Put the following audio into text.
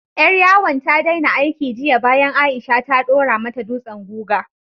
Ƴar yawon ta daina aiki jiya bayan Aisha ta ɗora mata dutsen guga.